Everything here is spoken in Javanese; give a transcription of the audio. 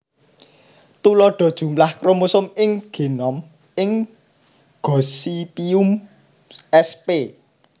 Tuladha jumlah kromosom ing génom ing Gossypium sp